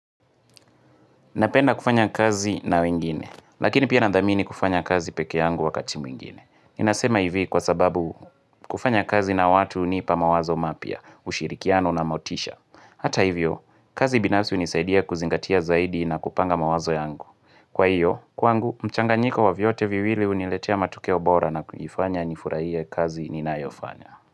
Napenda kufanya kazi na wengine, lakini pia nandhamini kufanya kazi peke yangu wakati mwingine. Nasema hivi kwa sababu kufanya kazi na watu hunipa mawazo mapya, ushirikiano na motisha. Hata hivyo, kazi binafsi hunisaidia kuzingatia zaidi na kupanga mawazo yangu. Kwa hiyo, kwangu, mchanganyiko wa vyote viwili huniletea matokeo bora na kunifanya nifurahie kazi ninayofanya.